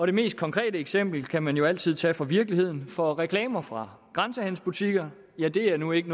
det mest konkrete eksempel kan man jo altid tage fra virkeligheden for reklamer fra grænsehandelsbutikker er nu ikke